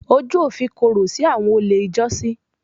Ojú òfin korò sí àwọn olè ijọ́sí.